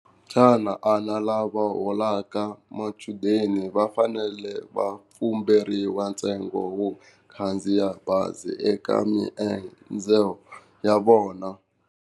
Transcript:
Xana lava holaka machudeni va fanele va ntsengo wo khandziya bazi eka maendzo ya vona?